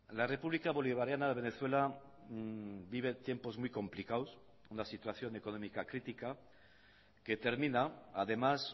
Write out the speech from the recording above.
la república bolivariana de venezuela vive tiempos muy complicados una situación económica crítica que termina además